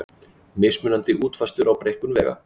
Mismunandi útfærslur á breikkun vega